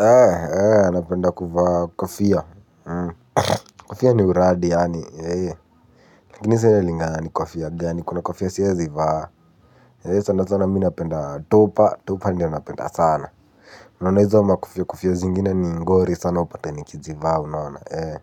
Eee, eee, napenda kuwa kofia. Kofia ni uradi yaani, eee. Lakini sene linga ni kofia yaani, kuna kofia siye zivaa. Eee, sana sana mi napenda topa, topa ni napenda sana. Naonezo makofia kofia zingine ni ngori sana upate nikizivaa unawana, eee.